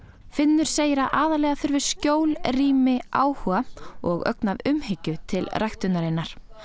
finnur segir að aðallega þurfi skjól rými áhuga og ögn af umhyggju til ræktunarinnar